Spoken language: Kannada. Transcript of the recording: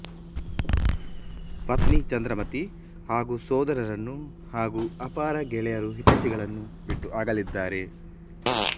ಪತ್ನಿ ಚಂದ್ರಮತಿ ಹಾಗೂ ಸೋದರರನ್ನೂ ಹಾಗೂ ಅಪಾರ ಗೆಳೆಯರುಹೈತೈಷಿಗಳನ್ನು ಬಿಟ್ಟು ಅಗಲಿದ್ದಾರೆ